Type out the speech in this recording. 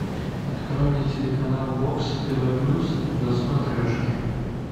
открой мне телеканал бокс тв плюс на смотрешке